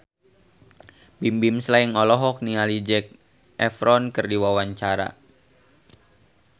Bimbim Slank olohok ningali Zac Efron keur diwawancara